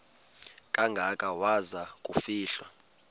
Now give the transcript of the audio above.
kangaka waza kufihlwa